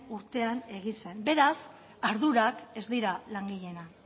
urtean egin zen beraz ardurak ez dira langileena